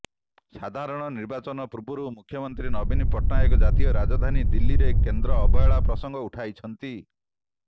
ସଧାରଣ ନିର୍ବାଚନ ପୂର୍ବରୁ ମୁଖ୍ୟମନ୍ତ୍ରୀ ନବୀନ ପଟ୍ଟନାୟକ ଜାତୀୟ ରାଜଧାନୀ ଦିଲ୍ଲୀରେ କେନ୍ଦ୍ର ଅବହେଳା ପ୍ରସଙ୍ଗ ଉଠାଇଛନ୍ତି